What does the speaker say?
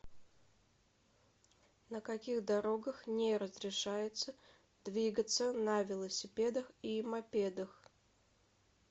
на каких дорогах не разрешается двигаться на велосипедах и мопедах